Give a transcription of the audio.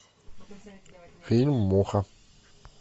фильм муха